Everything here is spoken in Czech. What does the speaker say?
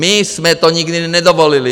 My jsme to nikdy nedovolili!